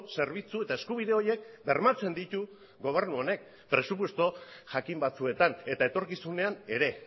zerbitzu eta eskubide horiek bermatzen ditu gobernu honek presupuesto jakin batzuetan eta etorkizunean ere